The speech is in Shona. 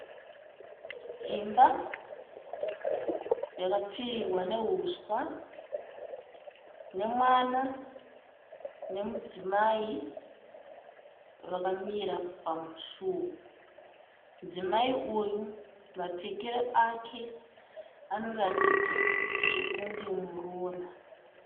Imba yakapfirirwa nehuswa nemwana nemudzimai vakamira pamusuo. Mudzimai uyu mapfekero ake anoratidza sekunge muroora.